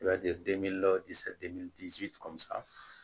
I b'a ye